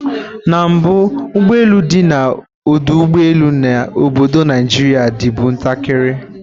na mbu, ugbo elu di na odu ugbo elu na obodo naijiria dibu ntakiri